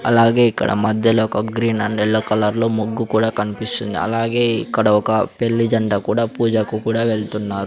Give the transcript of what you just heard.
అలాగే ఇక్కడ మధ్యలో ఒక గ్రీన్ అండ్ ఎల్లో కలర్లో ముగ్గు కూడా కన్పిస్తుంది అలాగే ఇక్కడ ఒక పెళ్లి జంట కూడా పూజకు కూడా వెళ్తున్నారు.